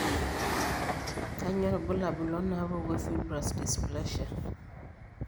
Kainyio irbulabul onaapuku eFibrous dysplasia?